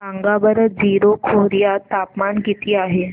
सांगा बरं जीरो खोर्यात तापमान किती आहे